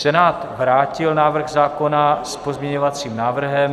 Senát vrátil návrh zákona s pozměňovacím návrhem.